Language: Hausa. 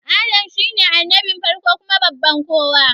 Adam shine annabin farko baban kowa